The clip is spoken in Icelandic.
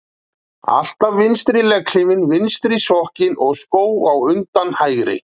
Alltaf vinstri legghlífina, vinstri sokkinn og skó á undan hægri.